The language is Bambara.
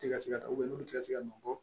Ti ka se ka taa n'u ti ka se ka nɔ bɔ